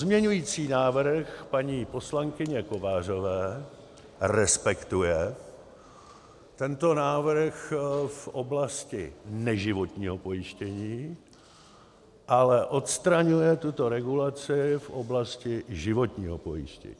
Pozměňující návrh paní poslankyně Kovářové respektuje tento návrh v oblasti neživotního pojištění, ale odstraňuje tuto regulaci v oblasti životního pojištění.